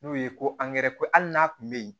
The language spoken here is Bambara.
N'o ye ko ko hali n'a kun be yen